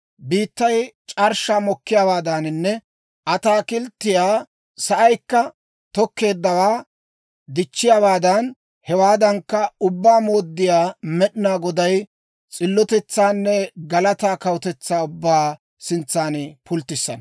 Biittay c'arshshaa mokkiyaawaadaaninne ataakilttiyaa sa'aykka tokkeeddawaa dichchiyaawaadan, hewaadankka, Ubbaa Mooddiyaa Med'inaa Goday s'illotetsaanne galataa kawutetsaa ubbaa sintsan pulttissana.